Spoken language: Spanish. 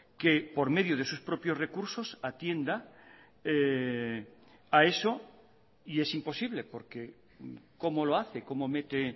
que por medio de sus propios recursos atienda a eso y es imposible porque cómo lo hace cómo mete